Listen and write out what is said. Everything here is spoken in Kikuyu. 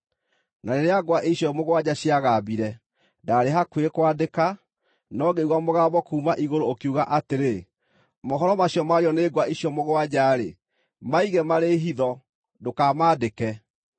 Na rĩrĩa ngwa icio mũgwanja ciagambire, ndaarĩ hakuhĩ kwandĩka; no ngĩigua mũgambo kuuma igũrũ ũkiuga atĩrĩ, “Mohoro macio maario nĩ ngwa icio mũgwanja-rĩ, maige marĩ hitho, ndũkamaandĩke.”